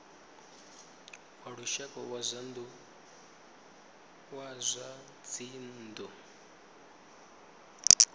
wa lushaka wa zwa dzinnu